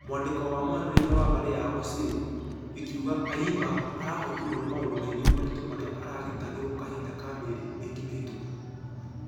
Mwandĩko wa mwarĩria wa mbarĩ yao osir ĩkĩuga ayimba arahotirwo nĩ maũndũ maingĩ maritũ marĩa aragitagĩrwo kahinda ka mĩeri mĩingĩ mĩhĩtũku.